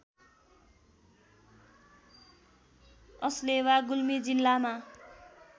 अस्लेवा गुल्मी जिल्लामा